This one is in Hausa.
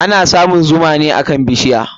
Ana samun zuma ne akan bishiya.